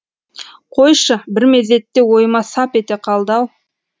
қойшы бір мезетте ойыма сап ете қалды ау